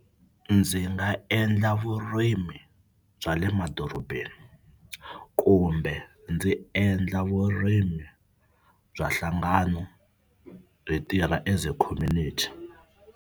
Ndzi nga endla vurimi bya le madorobeni kumbe ndzi endla vurimi bya nhlangano hi tirha as a community.